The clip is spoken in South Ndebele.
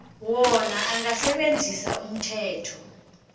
wona angasebenzisa umthetho